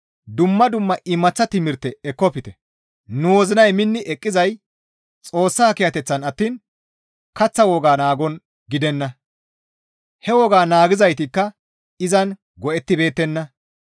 Dumma dumma imaththa timirte ekkofte; nu wozinay minni eqqizay Xoossa kiyateththan attiin kaththa wogaa naagon gidenna; he woga naagizaytikka izan go7ettibeettenna.